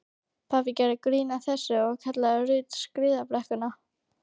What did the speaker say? Pabbi gerði grín að þessu og kallaði Ruth skíðabrekkuna.